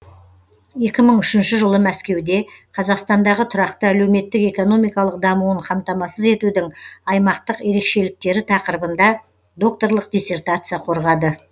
екі мың үшінші жылы мәскеуде қазақстандағы тұрақты әлеуметтік экономикалық дамуын қамтамасыз етудің аймақтық ерекшеліктері тақырыбында докторлық диссертация қорғады